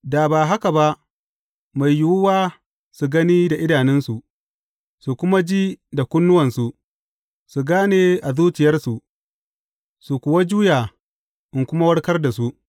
Da ba haka ba, mai yiwuwa su gani da idanunsu, su kuma ji da kunnuwansu, su gane a zuciyarsu, su kuwa juya, in kuma warkar da su.’